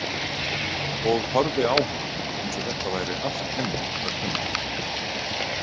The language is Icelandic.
Og horfði á hana eins og þetta væri allt henni að kenna.